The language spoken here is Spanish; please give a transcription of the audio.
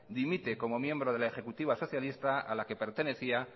dimite como miembro de la ejecutiva socialista a la que pertenecía